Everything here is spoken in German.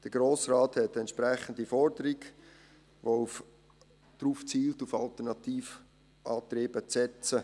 Der Grosse Rat stellte eine entsprechende Forderung, welche darauf abzielt, auf alternative Antriebe zu setzen.